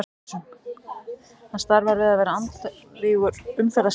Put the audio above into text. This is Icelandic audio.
Hann starfar við að vera andvígur umferðarslysum.